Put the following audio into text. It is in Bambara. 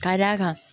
Ka d'a kan